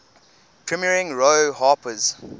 premiering roy harper's